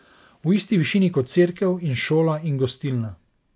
V isti višini kot cerkev in šola in gostilna.